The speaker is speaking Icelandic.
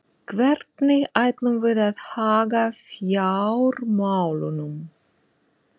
Hvernig ætlum við að haga fjármálunum?